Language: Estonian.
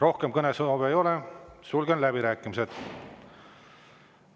Rohkem kõnesoove ei ole, sulgen läbirääkimised.